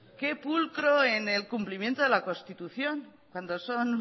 qué pulcro en el cumplimiento de la constitución cuando son